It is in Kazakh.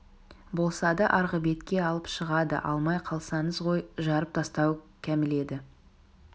болса да арғы бетке алып шығады алмай қалсаңыз ғой жарып тастауы кәміл еді